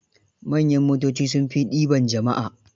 Manyan motoci sun fi ɗiban jama'a